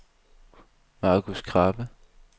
Marcus Krabbe